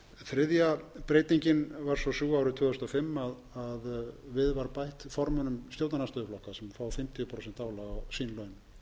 þriðja breytingin var svo sú árið tvö þúsund og fimm að við var bætt formönnum stjórnarandstöðuflokka sem fá fimmtíu prósent álag á sín laun